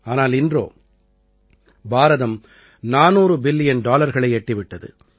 ஆனால் இன்றோ பாரதம் 400 பில்லியன் டாலர்களை எட்டிவிட்டது